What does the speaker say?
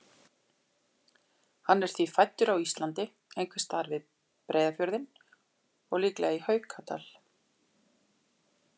Hann er því fæddur á Íslandi, einhvers staðar við Breiðafjörðinn og líklega í Haukadal.